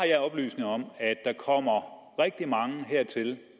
oplysninger om at der kommer rigtig mange hertil